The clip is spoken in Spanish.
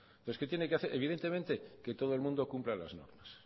entonces qué tiene que hacer evidentemente que todo el mundo cumpla las normas